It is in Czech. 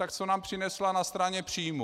Tak co nám přinesla na straně příjmů.